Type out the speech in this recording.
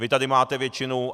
Vy tady máte většinu.